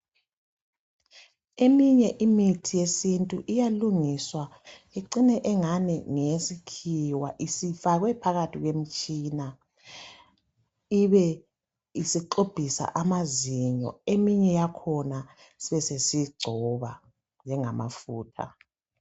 Eminye imithi yesintu iyalungiswa icine engani ngeyesikhiwa isifakwe phakathi kwemitshina ibe isixubhisa amazinyo eminye yakhona besesiyigcoba njengama futha.